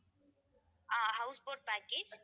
ah house boat package